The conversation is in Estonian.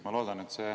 Ma loodan, et see …